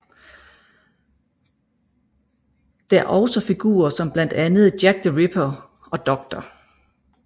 Der også figurer som blandt andet Jack the Ripper og Dr